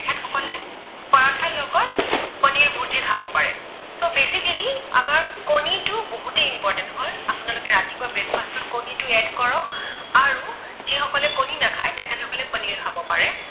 So basically আমাৰ কণীটো বহুতেই important হয়। আপোনালোকে ৰাতিপুৱা breakfast ত কণীটো add কৰক আৰু যিসকলে কণী নাখায় তেখেতসকলে পনীৰ খাব পাৰে।